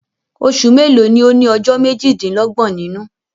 Osù mélòó ni ó ní ọjọ́ méjì-dín-lọ́gbọ̀n nínú?